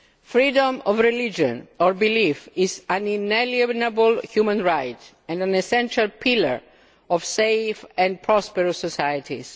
Freedom of religion or belief is an inalienable human right and an essential pillar of safe and prosperous societies.